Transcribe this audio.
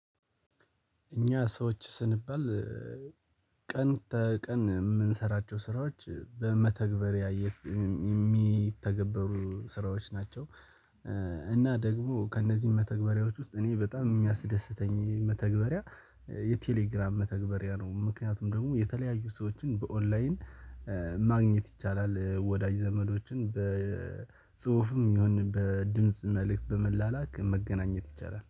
እኛ ሰዎች ስንባል ቀን ተቀን የምንሰራቸው ስራዎች በመተግበሪያ የሚተገበሩ ስራዎች ናቸው። እና ደግሞ ከእነዚህ መተግበሪያዎች ውስጥ እኔ በጣም የሚያስደስተኝ መተግበሪያ የቴሌግራም መተግበሪያ ነው። ምክንያቱም ደግሞ የተለያዩ ሰዎችን በኦንላይን ማግኘት ይቻላል። ወዳጅ ዘመዶችን በጽሁፍም ይሁን በድምጽ መልእክት በመላላክ መገናኘት ይቻላል